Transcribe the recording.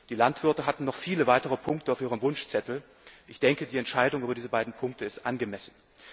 Die Landwirte hatten noch viele weitere Punkte auf ihrem Wunschzettel, und die Entscheidung über diese beiden Punkte ist angemessen.